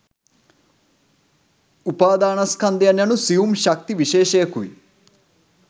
උපාදානස්කන්ධය යනු සියුම් ශක්ති විශේෂයකුයි.